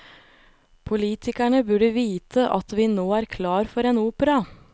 Politikerne burde vite at vi nå er klar for en opera.